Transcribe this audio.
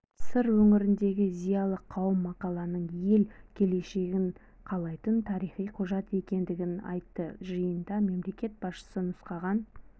сыр өңіріндегі зиялы қауым мақаланың ел келешегін қалайтын тарихи құжат екендігін айтты жиында мемлекет басшысы нұсқаған